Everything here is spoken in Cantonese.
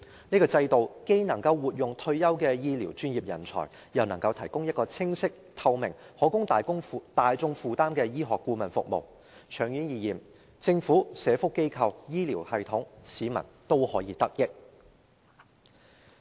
這制度既能活用退休醫療專業人才，又能提供清晰、透明，以及大眾可以負擔的醫學顧問服務，長遠而言，政府、社福機構、醫療系統和市民均可得益。